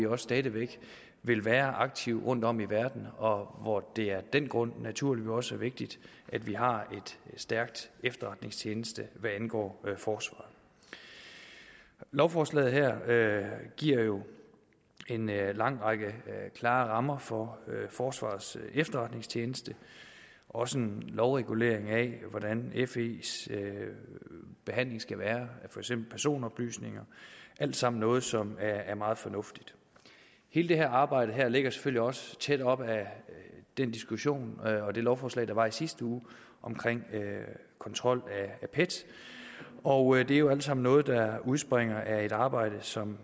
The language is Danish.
og stadig væk vil være aktive rundtom i verden og hvor det af den grund naturligvis også er vigtigt at vi har en stærk efterretningstjeneste hvad angår forsvaret lovforslaget her giver jo en lang række klare rammer for forsvarets efterretningstjeneste også en lovregulering af hvordan fes behandling skal være af for eksempel personoplysninger alt sammen noget som er meget fornuftigt hele det her arbejde ligger selvfølgelig også tæt op ad den diskussion og det lovforslag der var i sidste uge om kontrol af pet og det er jo alt sammen noget der udspringer af et arbejde som